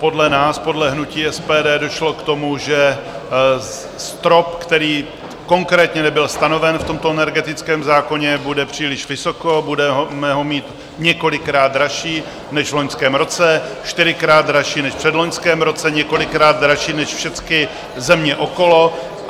Podle nás, podle hnutí SPD, došlo k tomu, že strop, který konkrétně nebyl stanoven v tomto energetickém zákoně, bude příliš vysoko, budeme ho mít několikrát dražší než v loňském roce, čtyřikrát dražší než v předloňském roce, několikrát dražší než všechny země okolo.